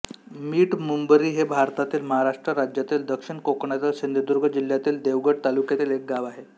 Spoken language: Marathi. मिठमुंबरी हे भारतातील महाराष्ट्र राज्यातील दक्षिण कोकणातील सिंधुदुर्ग जिल्ह्यातील देवगड तालुक्यातील एक गाव आहे